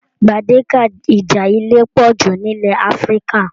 Gbedeke ìjà ilé pọ jù n'ilẹ̀ Áfíríkà.